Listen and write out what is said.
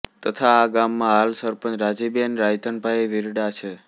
તથા આ ગામ માં હાલ સરપંચ રાજીબેન રાયધનભાઈ વિરડા છે